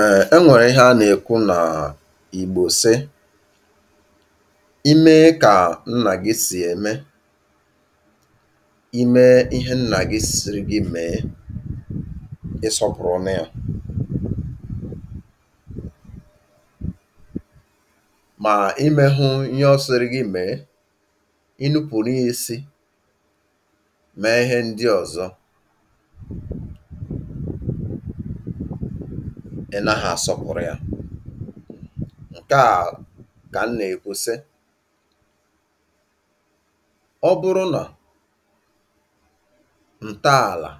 Ee e nwere ihe a na-ekwu na Igbo sị "i mee ka nna gị si eme, i mee ihe nna gị sịrị gị mee, ị́ sọpụrụnụ e" ma i meghụ ihe ọ sịrị gị mee, ị́ nupụrụ ya isi mee ihe ndị ọzọ, ị naghọ asọpụrụ ya. Nke a ka m na-ekwu sị ọ bụrụ na ntọala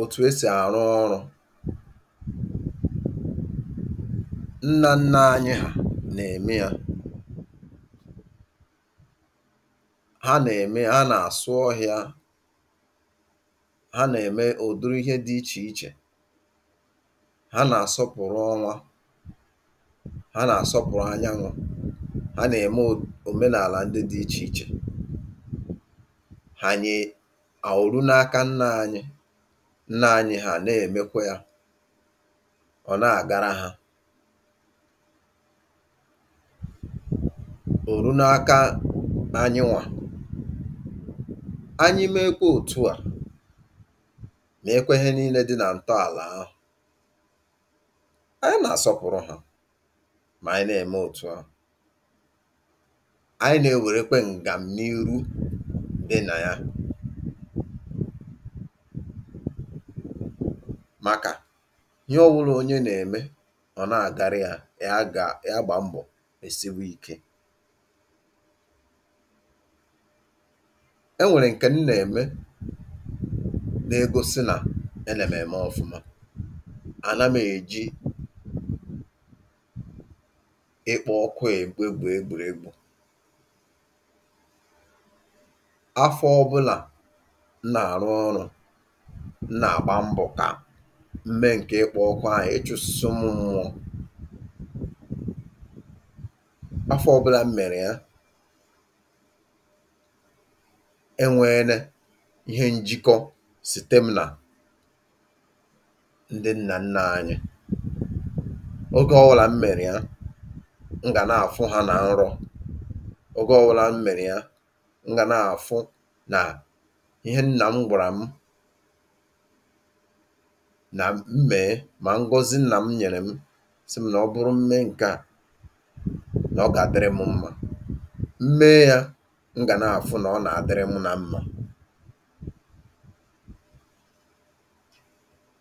etu e si arụ ọrụ nna nna anyị hà na-eme ya ha na-eme ya ha na-asụ ọhịa ha na-eme udiri ihe dị iche iche. Ha na-asọpụrụ ọnwa. Ha na-asọpụrụ anyanwụ. Ha na-eme o omenala ndị dị iche iche ha nye o ru n'aka nna anyị. Nna anyị hà na-emekwa ya. Ọ na-agara ha. O ru n'aka anyịnwa, anyị meekwe otu a, meekwe ihe niile dị na ntọala ahụ, anyị na-asọpụrụ ha ma anyị na-eme otu a. Anyị na-ewerekwa ngamniihu dị na ya maka ihe ọwụla onye na-eme ọ na-agara ya, ya ga ya gbaa mbọ mesiwei ike. e nwere nke m na-eme na-egosi nae ne m eme ọfụma. A na m eji ịkpọ. Afọ ọbụla m na-arụ ọrụ a, m na-agba mbọ ka m mee nke ịkpọ ọkụ ahụ ịchụsịsî ụmụ mmụọ. Afọ ọbụla m mere ya, e nweene njikọ site m na ndị nna nna anyị. Oge ọwụla m mere ya, m ga na-afụ ha na nrọ. Oge ọwụla m mere ya, m ga na-afụ na ihe nna m gwara mụ na m mee na ngọzi nna m nyere mụ sị m na ọ bụrụ m mee nke a, na ọ ga-adịrị mụ mma. M mee ya, m ga na-afụ na ọ na-adịrị mụ mma